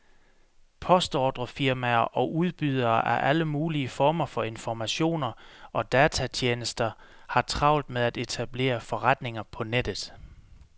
Postordrefirmaer og udbydere af alle mulige former for informationer og datatjenester har travlt med at etablere forretninger på nettet.